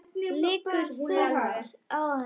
Liggur þungt á henni.